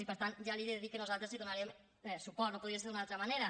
i per tant ja li he de dir que nosaltres hi donarem suport no podia ser d’una altra manera